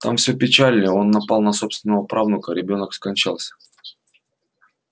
там всё печально он напал на собственного правнука ребёнок скончался